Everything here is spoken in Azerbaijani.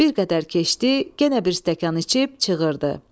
Bir qədər keçdi, genə bir stəkan içib çığırdı.